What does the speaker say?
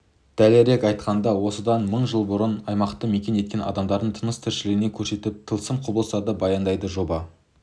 дәлірек айтқанда осыдан мың жыл бұрын аймақты мекен еткен адамдардың тыныс-тіршілігін көрсетіп тылсым құбылыстарды баяндайды жоба